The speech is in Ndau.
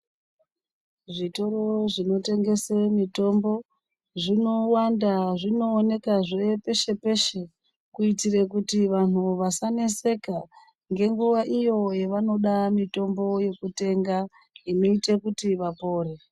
Zvitoro zvinotengese mitombo, zvinowanda zvinoonekazve peshe -peshe, kuitire kuti vanhu vasaneseka ngenguwa iyo yavanode mitombo yekutenga inoite kuti vapore.